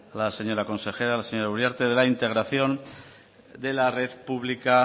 la señora consejera la señora uriarte de la integración de la red pública